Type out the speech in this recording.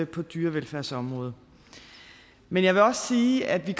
på dyrevelfærdsområdet men jeg vil også sige at vi